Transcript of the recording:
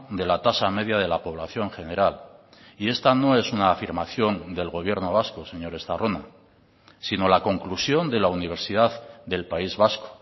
de la tasa media de la población general y esta no es una afirmación del gobierno vasco señor estarrona sino la conclusión de la universidad del país vasco